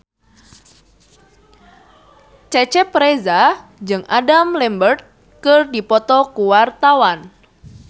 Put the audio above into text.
Cecep Reza jeung Adam Lambert keur dipoto ku wartawan